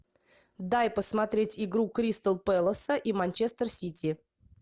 дай посмотреть игру кристал пэлэса и манчестер сити